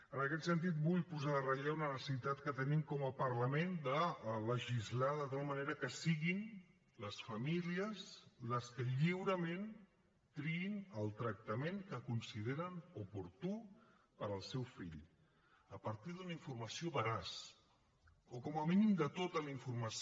en aquest sentit vull posar en relleu una necessitat que tenim com a parlament de legislar de tal manera que siguin les famílies les que lliurement triïn el tractament que consideren oportú per al seu fill a partir d’una informació veraç o com a mínim de tota la informació